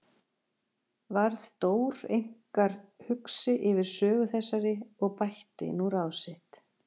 Varð Dór einkar hugsi yfir sögu þessari og bætti nú ráð sitt.